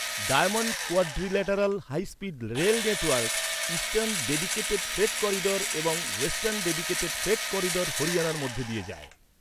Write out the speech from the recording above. Diamond quadrilateral high speed rail network, eastern dedicated freight corridor এবং western dedicated freight corridor হরিয়ানার মধ্য দিয়ে যায়।